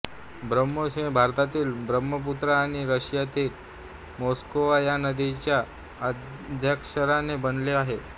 ब्राह्मोस हे नाव भारतातील ब्रह्मपुत्रा आणि रशियातील मोस्कवा या नद्यांच्या आद्याक्षराने बनले आहे